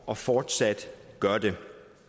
og fortsat gør det